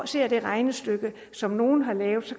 ser det regnestykke som nogle har lavet